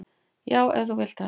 """Já, ef þú vilt það."""